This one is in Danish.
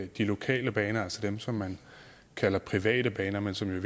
de lokale baner altså dem som man kalder private baner men som jo i